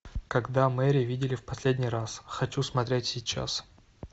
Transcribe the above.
когда мэри видели в последний раз хочу смотреть сейчас